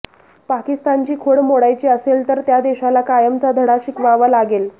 पाकिस्तानची खोड मोडायची असेल तर त्या देशाला कायमचा धडा शिकवावा लागेल